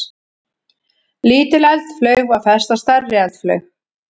Lítil eldflaug var fest á stærri eldflaug.